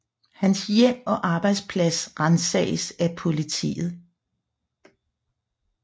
Hans hjem og arbejdsplads ransages af politiet